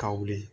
Ka wuli